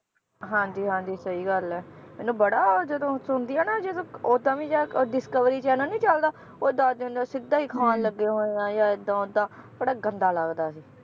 ਹਾਂਜੀ ਹਾਂਜੀ ਸਹੀ ਗੱਲ ਏ ਮੈਨੂੰ ਬੜਾ ਉਹ ਜਦੋਂ ਸੁਣਦੀ ਆ ਨਾ ਜਦੋ ਓਦਾਂ ਵੀ ਜਾਂ ਉਹ discovery channel ਨੀ ਚਲਦਾ ਉਹ ਦੱਸਦੇ ਹੁੰਦੇ ਆ, ਸਿੱਧਾ ਹੀ ਖਾਣ ਲੱਗੇ ਹੋਏ ਆ ਜਾਂ ਏਦਾਂ ਓਦਾਂ, ਬੜਾ ਗੰਦਾ ਲੱਗਦਾ ਸੀ